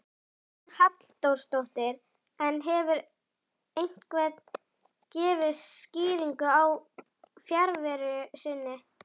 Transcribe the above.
Hugrún Halldórsdóttir: En hefur einhver gefið skýringar á fjarveru sinni?